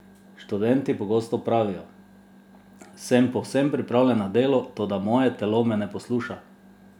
Študenti pogosto pravijo: "Sem povsem pripravljen na delo, toda moje telo me ne posluša.